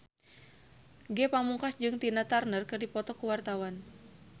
Ge Pamungkas jeung Tina Turner keur dipoto ku wartawan